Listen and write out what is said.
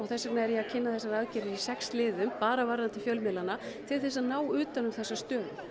þess vegna er ég að kynna þessar aðgerðir í sex liðum bara til til að ná utan um þessa stöðu